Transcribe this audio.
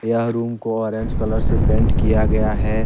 यह रूम को orange colour से पेंट किया गया है।